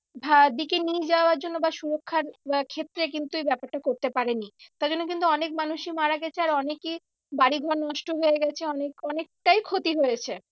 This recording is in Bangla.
দিকে নিয়ে যাওয়ার জন্য বা সুরক্ষার আহ ক্ষেত্রে কিন্তু এই ব্যাপারটা করতে পারেনি। তাই জন্যে কিন্তু অনেক মানুষই মারা গেছে আর অনেকে বাড়ি ঘর নষ্ট হয়ে গেছে অনেক অনেকটাই ক্ষতি হয়েছে।